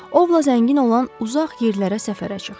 Ovla zəngin olan uzaq yerlərə səfərə çıx.